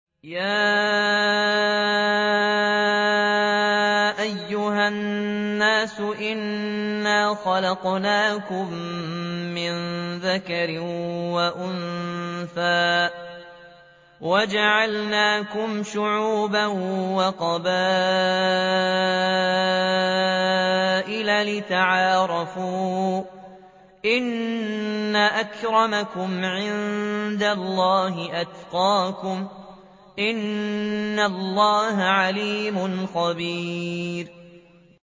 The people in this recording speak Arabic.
يَا أَيُّهَا النَّاسُ إِنَّا خَلَقْنَاكُم مِّن ذَكَرٍ وَأُنثَىٰ وَجَعَلْنَاكُمْ شُعُوبًا وَقَبَائِلَ لِتَعَارَفُوا ۚ إِنَّ أَكْرَمَكُمْ عِندَ اللَّهِ أَتْقَاكُمْ ۚ إِنَّ اللَّهَ عَلِيمٌ خَبِيرٌ